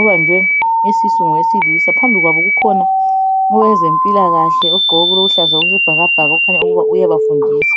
ubanjwe isisu ngowesilisa . Phambi kwabo kukhona owezempilakahle ogqoke okuluhlaza okwesibhakabhaka okukhanya ukuba uyabafundisa .